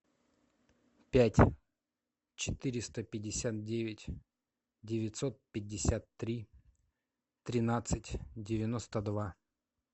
пять четыреста пятьдесят девять девятьсот пятьдесят три тринадцать девяносто два